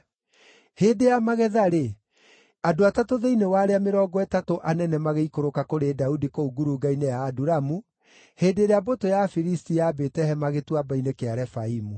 Hĩndĩ ya magetha-rĩ, andũ atatũ thĩinĩ wa arĩa mĩrongo ĩtatũ anene magĩikũrũka kũrĩ Daudi kũu ngurunga-inĩ ya Adulamu, hĩndĩ ĩrĩa mbũtũ ya Afilisti yambĩte hema Gĩtuamba-inĩ kĩa Refaimu.